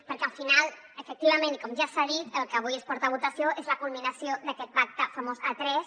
perquè al final efectivament i com ja s’ha dit el que avui es porta a votació és la culminació d’aquest pacte famós a tres